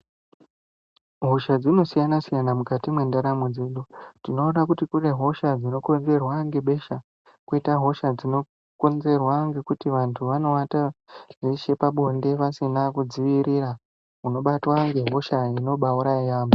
Hosha dzinosiyana -siyana mukati mwendaramo dzedu. Tinoona kuti kune hosha dzinokonzerwa ngebesha, kwoita hosha dzinokonzerwa ngekuti vantu vanowata veshe pabonde vasina kudzivirira unobatwa ngehosha inobaauraya yaamho.